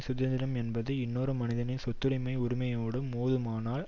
சுதந்திரம் என்பது இன்னொரு மனிதனது சொத்துடைமை உரிமையோடு மோதுமானால்